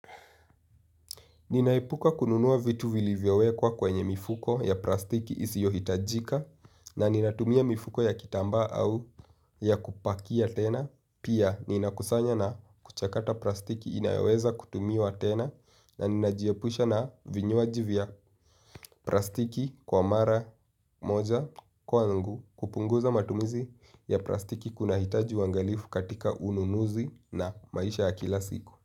Ninaepuka kununuwa vitu vili vyowekwa kwenye mifuko ya plastiki isi yohitajika na ninatumia mifuko ya kitamba au ya kupakia tena. Pia ninakusanya na kuchakata plastiki inayoweza kutumiwa tena na ninajiepusha na vinyuaji vya plastiki kwa mara moja kwa ngu kupunguza matumizi ya plastiki kuna hitaji wangalifu katika ununuzi na maisha ya kila siku.